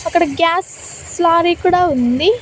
అక్కడ gas lorry కూడా ఉంది.